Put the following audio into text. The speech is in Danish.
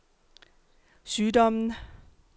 sygdommen